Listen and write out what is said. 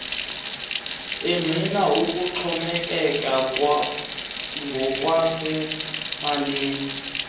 engqina ukuxhomekeka ngokwasemalini